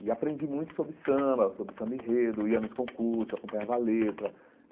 E aprendi muito sobre samba, sobre samba enredo, ia nos concursos, acompanhava a letra.